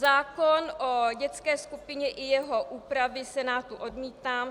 Zákon o dětské skupině i jeho úpravy Senátu odmítám.